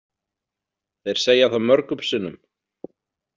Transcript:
Þeir segja það mörgum sinnum.